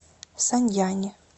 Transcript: саньяни